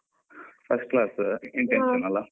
First class intention ಅಲ್ಲಾ?